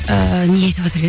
ыыы не айтып отыр